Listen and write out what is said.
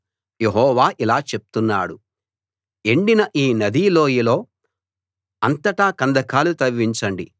యెహోవా ఇలా చెప్తున్నాడు ఎండిన ఈ నదీ లోయలో అంతటా కందకాలు తవ్వించండి